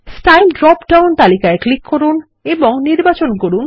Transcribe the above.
style drop down তালিকায় click করুন এবং নির্বাচন করুন